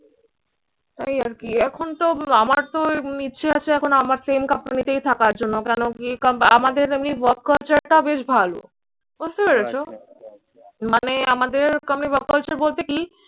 তাই আর কি এখনতো আমারতো ইচ্ছে আছে এখন আমার same company তেই থাকার জন্য। কেন কি ক আমাদের আমি work culture টা বেশ ভালো। বুঝতে পেরেছো? মানে আমাদের work culture বলতে কি?